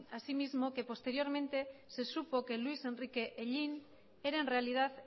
así mismo que posteriormente se supo que luis enrique hellín era en realidad